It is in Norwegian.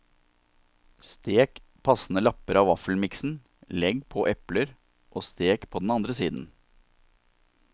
Stek passende lapper av vaffelmiksen, legg på epler og stek på den andre siden.